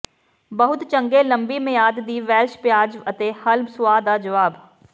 ਬਹੁਤ ਚੰਗੇ ਲੰਬੀ ਮਿਆਦ ਦੀ ਵੈਲਸ਼ ਪਿਆਜ਼ ਅਤੇ ਹੱਲ ਸੁਆਹ ਦਾ ਜਵਾਬ